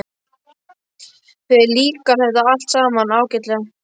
Þér líkar þetta allt saman ágætlega.